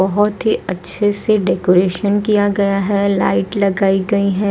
बहुत ही अच्छे से डेकोरेशन किया गया है लाइट लगाई गई हैं।